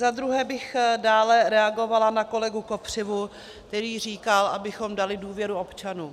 Za druhé bych dále reagovala na kolegu Kopřivu, který říkal, abychom dali důvěru občanům.